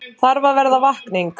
Þarf að verða vakning